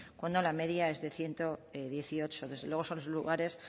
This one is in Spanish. cuando la media es de ciento dieciocho desde luego son lugares